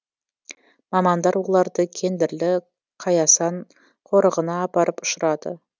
мамандар оларды кендірлі қаясан қорығына апарып ұшырады